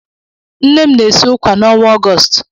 Nne m na-esi ụkwà n'ọnwa Ọgọọst.